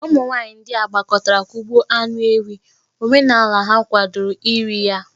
Ụmụ nwaanyị ndia gbakọtara kugbo anụ ewi, omenala ha kwadoro iri ya eri.